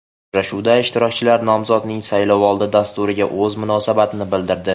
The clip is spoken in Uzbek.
Uchrashuvda ishtirokchilar nomzodning saylovoldi dasturiga o‘z munosabatini bildirdi.